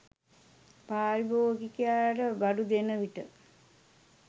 පාරිභෝගිකයාට බඩු දෙන විට